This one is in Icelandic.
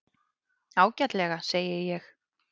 Ágætlega, segi ég.